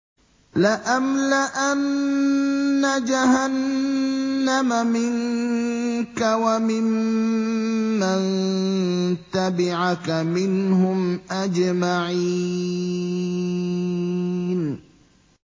لَأَمْلَأَنَّ جَهَنَّمَ مِنكَ وَمِمَّن تَبِعَكَ مِنْهُمْ أَجْمَعِينَ